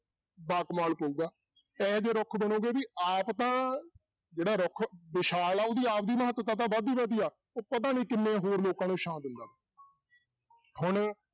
ਬਾ ਕਮਾਲ ਪਊਗਾ, ਇਹ ਜਿਹੇ ਰੁੱਖ ਬਣੋਗੇ ਵੀ ਆਪ ਤਾਂ ਜਿਹੜਾ ਰੁੱਖ ਵਿਸ਼ਾਲ ਆ ਉਹਦੀ ਆਪਦੀ ਮਹੱਤਤਾ ਤਾਂ ਵਧਦੀ ਵਧਦੀ ਆ ਉਹ ਪਤਾ ਨੀ ਕਿੰਨੇ ਹੋਰ ਲੋਕਾਂ ਨੂੰ ਛਾਂਂ ਦਿੰਦਾ ਹੁਣ